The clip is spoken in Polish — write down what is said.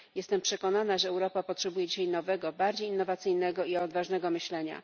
Jestem przekonana, że Europa potrzebuje dzisiaj nowego, bardziej innowacyjnego i odważnego myślenia.